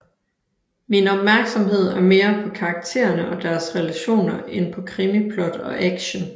Min opmærksomhed er mere på karaktererne og deres relationer end på krimiplot og action